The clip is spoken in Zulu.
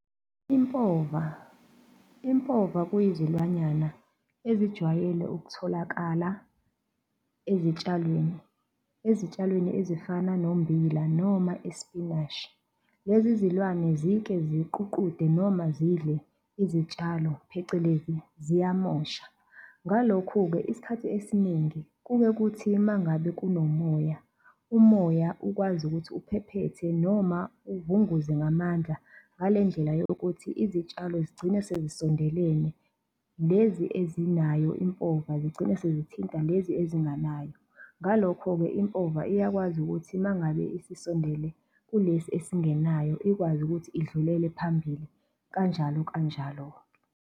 Impova, impova kuyizilwanyana ezijwayele ukutholakala ezitshalweni, ezitshalweni ezifana nombila noma ispinashi. Lezi zilwane zike ziququde noma zidle izitshalo phecelezi ziyamosha. Ngalokhu-ke isikhathi esiningi kuke kuthi uma ngabe kunomoya umoya ukwazi ukuthi uphephethe noma uvunguze ngamandla, ngalendlela yokuthi izitshalo zigcine sezisondelene, lezi ezinayo impova zigcine sezithinta lezi ezinganayo. Ngalokho-ke impova iyakwazi ukuthi uma ngabe isisondele kulesi esingenayo ikwazi ukuthi idlulele phambili kanjalo kanjalo-ke.